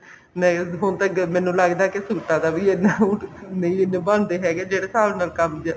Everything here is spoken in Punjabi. ਨਹੀਂ ਹੁਣ ਤਾਂ ਮੈਨੂੰ ਲੱਗਦਾ ਕਿ ਸੂਟਾਂ ਦਾ ਵੀ ਇੰਨਾ ਨਹੀਂ ਇੰਨਾ ਬਣਦੇ ਹੈਗੇ ਜਿਹੜੇ ਹਿਸਾਬ ਨਾਲ ਕੰਮ